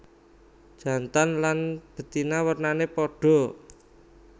Jantan lan betina wernané padha